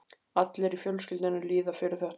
Allir í fjölskyldunni líða fyrir þetta.